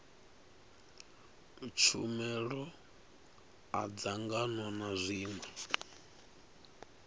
tshumelo a dzangano na zwiṅwe